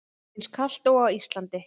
Eins kalt og á Íslandi?